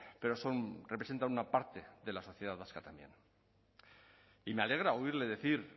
pero son representan una parte de la sociedad vasca también y me alegra oírle decir